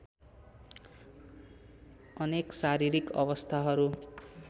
अनेक शारीरिक अवस्थाहरू